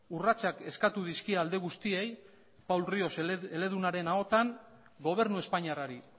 urratsak eskatu dizkie alde guztiei paul rios eledunaren ahotan gobernu espainiarrari